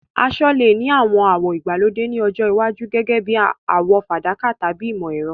Aṣọ lè ní àwọn àwọ̀ ìgbàlódé ní ọjọ́ iwájú, gẹ́gẹ́ bí àwọ̀ fàdákà tàbí ìmọ̀-ẹ̀rọ.